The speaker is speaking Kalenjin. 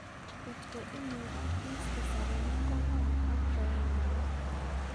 Kotko imukak iiste saremik kong'wan ak ko yai mook